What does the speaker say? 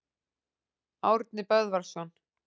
Árni Böðvarsson.